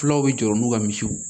Fulaw bɛ jɔrɔ n'u ka misiw ye